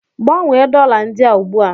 Gbanwee dollar ndị a ugbu a!